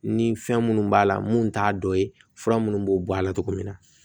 Ni fɛn minnu b'a la mun t'a dɔ ye fura munnu b'o bɔ a la cogo min na